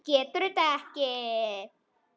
Getur þetta ekki.